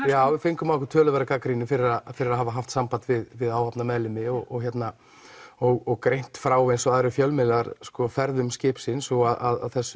já við fengum á okkur töluverða gagnrýni fyrir að fyrir að hafa haft samband við við áhafnarmeðlimi og og greint frá eins og aðrir fjölmiðlar ferðum skipsins og að þessu